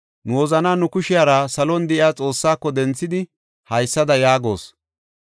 Nu wozanaa nu kushiyara salon de7iya Xoossaako denthidi haysada yaagos: